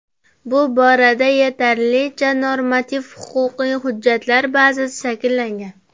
Bu borada yetarlicha normativ-huquqiy hujjatlar bazasi shakllangan.